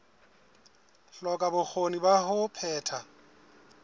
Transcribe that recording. hloka bokgoni ba ho phetha